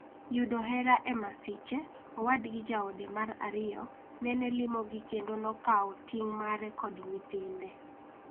Yudo hera e masiche, owadgi jaode mar ariyo nene limogi kendo nokawo ting' mare kod nyithinde.